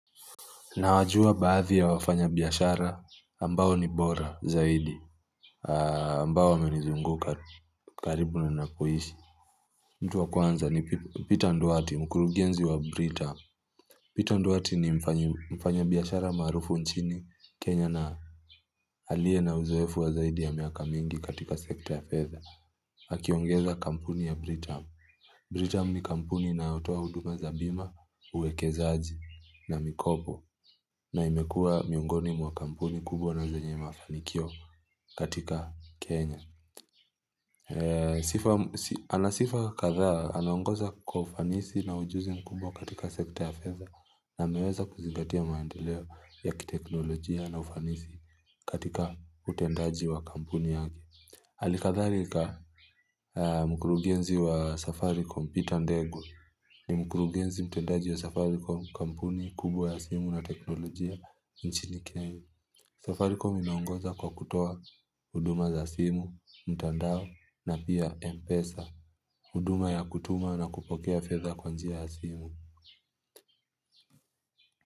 Na wajua baadhi ya wafanya biashara ambao ni bora zaidi ambao wame nizunguka karibu na ninakoishi. Mtu wa kwanza ni Peter nduati mkurugenzi wa Britam. Peter nduati ni mfanya biashara maarufu nchini Kenya na aliye na uzoefu wa zaidi ya miaka mingi katika sekta ya fedha. Akiongeza kampuni ya Britam. Britam ni kampuni inayotoa huduma za bima, uwekezaji na mikopo na imekuwa miongoni mwa kampuni kubwa na zenye mafanikio katika Kenya. Anasifa kadhaa, anaongoza kwa ufanisi na ujuzi mkubwa katika sekta ya fedha na ameweza kuzingatia maendeleo ya kiteknolojia na ufanisi katika utendaji wa kampuni yake hali kadhalika mkurugenzi wa safaricom Peter ndegwa ni mkurugenzi mtendaji wa safaricom kampuni kubwa ya simu na teknolojia nchini Kenya Safaricom inaongoza kwa kutoa huduma za simu, mtandao na pia M-Pesa huduma ya kutuma na kupokea fedha kwa njia ya simu.